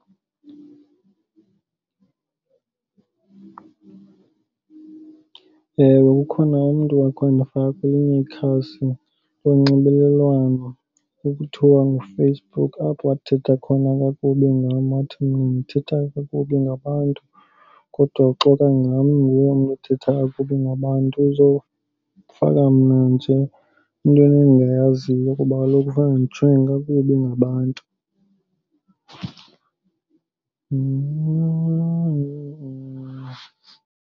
Ewe, ukhona umntu owake wandifaka kwelinye ikhasi lonxibelelwano ekuthiwa nguFacebook apho wathetha khona kakubi ngam wathi mna ndithetha kakubi ngabantu. Kodwa uxoka ngam, inguye umntu othetha kakubi ngabantu. Uzofaka mna nje entweni endingayaziyo kuba kaloku ufuna ndijongwe kakubi ngabantu .